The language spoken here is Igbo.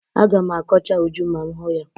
Aga m akọcha Uju ma m hụ ya.